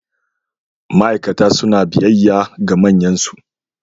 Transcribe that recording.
Ma'aikata suna biyayya ga manyansu.